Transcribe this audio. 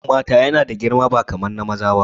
Ɗuwawun mata yana da girma ba kaman na maza ba